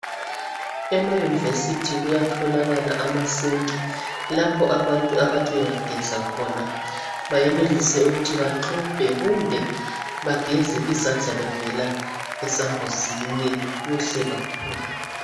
Emayunivesithi kuyatholakala amasinki lapho abantu abathi bengageza khona bayenelise ukuthi baxubhe kumbe bageze izandla bevela esambuzini kuhle kakhulu.